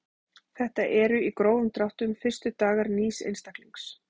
Þetta eru í grófum dráttum fyrstu dagar nýs einstaklings.